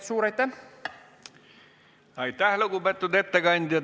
Aitäh, lugupeetud ettekandja!